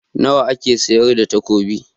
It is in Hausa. Nawa ake sayar da takobi?